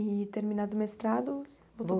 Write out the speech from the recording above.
E terminado o mestrado, voltou